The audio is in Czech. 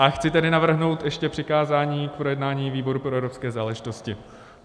A chci tedy navrhnout ještě přikázání k projednání výboru pro evropské záležitosti.